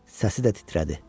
Səsi də titrədi.